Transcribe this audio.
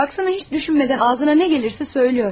Baksana hiç düşünmeden ağzına ne gelirse söylüyor.